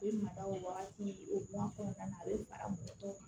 U bɛ mada o wagati o a kɔnɔna na a bɛ fara mɔgɔ tɔw kan